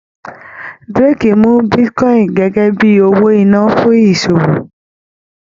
Drake mú bitcoin gẹgẹ bíi owó iná fún ìṣòwò.